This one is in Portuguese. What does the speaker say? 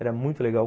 Era muito legal.